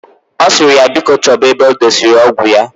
Osiri ya biko choba ebe odesiri ọgwụ ya.